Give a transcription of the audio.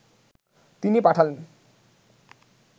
তিনি পাঠালেন